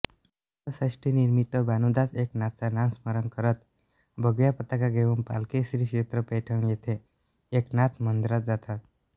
नाथषष्ठीनिमित्त भानुदास एकनाथचा नामस्मरण करत भगव्या पताका घेऊन पालखी श्रीक्षेत्र पैठण येथे एकनाथ मंदिरात जातात